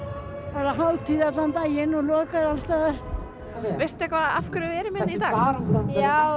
bara hátíð allan daginn og lokað alls staðar veistu eitthvað af hverju við erum hérna í dag já